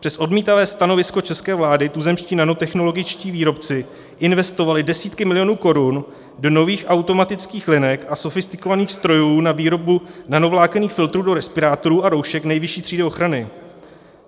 Přes odmítavé stanovisko české vlády tuzemští nanotechnologičtí výrobci investovali desítky milionů korun do nových automatických linek a sofistikovaných strojů na výrobu nanovlákenných filtrů do respirátorů a roušek nejvyšší třídy ochrany.